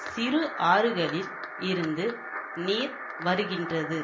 சிறு ஆறுகளில் இருந்து நீர் வருகின்றது